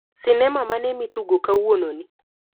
Sinema mane mitugo kawuononi?